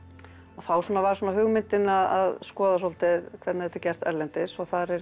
þá var hugmyndin að skoða svolítið hvernig þetta er gert erlendis þar er